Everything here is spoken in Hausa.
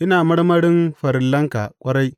Ina marmarin farillanka ƙwarai!